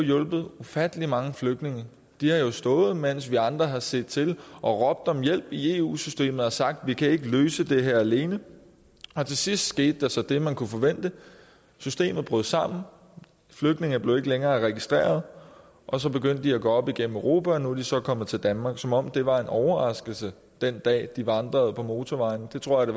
hjulpet ufattelig mange flygtninge de har jo stået mens vi andre har set til og råbt om hjælp i eu systemet og sagt vi kan ikke løse det her alene til sidst skete der så det man kunne forvente systemet brød sammen flygtninge blev ikke længere registreret og så begyndte de at gå op igennem europa og nu er de så kommet til danmark som om det var en overraskelse den dag de vandrede på motorvejen det tror jeg